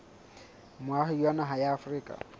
moahi wa naha ya afrika